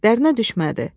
Dərinə düşmədi.